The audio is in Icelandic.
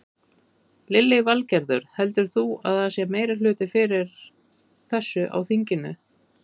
Lillý Valgerður: Heldur þú að það sé meirihluti fyrir þessu á þinginu?